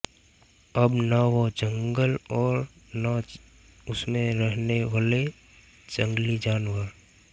अब न वो जंगल और न उसमें रहने वले जंगली जानवर